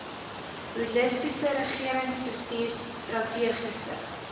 holistiese regeringsbestuur strategiese